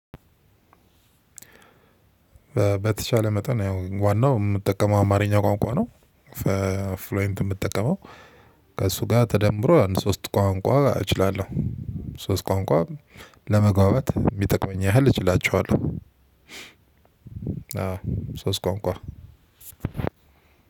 በተቻለ መጠን ያው ዋናው እምጠቀመው አማርኛ ቋንቋ ነው። ፍሎይንት እምጠቀመው ከእሱ ጋር ተደምሮ አንድ ሶስት ቋንቋ እችላለሁ። ሶስት ቋንቋ ለመግባባት እሚጠቅመኝ ያህል እችላችኋለሁ። አዎ ሶስት ቋንቋ